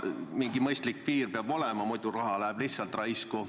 Mingi mõistlik piir peab olema, muidu läheb raha lihtsalt raisku.